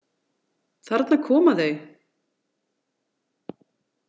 Þarna koma þau!